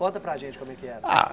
Conta para a gente como é que era. Ah